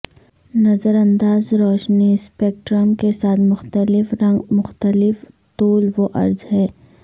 نظر انداز روشنی سپیکٹرم کے ساتھ مختلف رنگ مختلف طول و عرض ہے